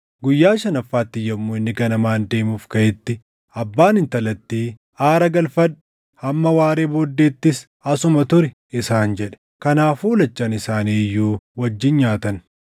Guyyaa shanaffaatti yommuu inni ganamaan deemuuf kaʼetti abbaan intalattii, “Aara galfadhu. Hamma waaree booddeettis asuma turi!” isaan jedhe. Kanaafuu lachan isaanii iyyuu wajjin nyaatan.